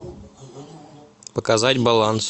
показать баланс